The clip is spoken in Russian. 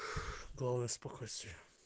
главное спокойствие